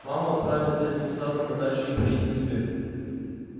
маму отправим с детским садом на дачу и приедем к тебе